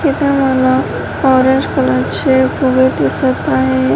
इथून मला orange colour चे फुगे दिसत आहे.